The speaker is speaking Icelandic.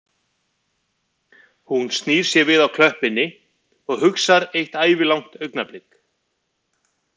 Hún snýr sér við á klöppinni og hugsar eitt ævilangt augnablik